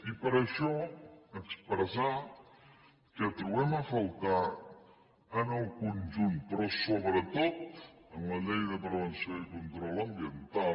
i per això expressar que trobem a faltar en el conjunt però sobretot en la llei de prevenció i control ambiental